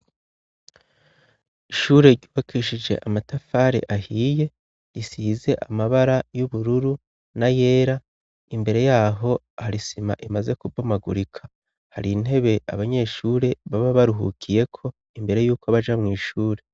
Ishure ry'uwakishije amatafare ahiye isize amabara y'ubururu na yera imbere yaho har isima imaze kubomagurika hari intebe abanyeshure baba baruhukiyeko imbere yuko baja mw'ishure.